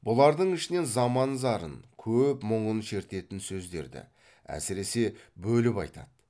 бұлардың ішінен заман зарын көп мұңын шертетін сөздерді әсіресе бөліп айтады